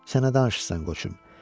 Sənə danışırsan, qoçum.